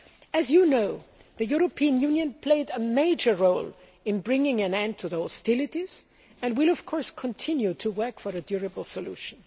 As you know, the European Union played a major role in bringing an end to the hostilities, and will continue to work for a durable solution.